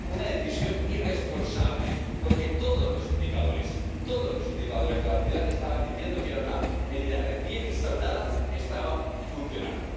una decisión irresponsable, porque todos los indicadores, todos los indicadores de la ciudad estaban diciendo que era una medida recién instaurada que estaba funcionando